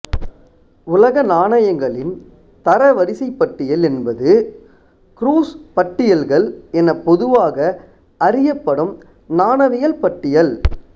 உலக நாணயங்களின் தரவரிசைப் பட்டியல் என்பது க்ரூஸ் பட்டியல்கள் என பொதுவாக அறியப்படும் நாணயவியல் பட்டியல்